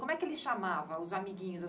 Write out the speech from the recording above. Como é que ele chamava os amiguinhos?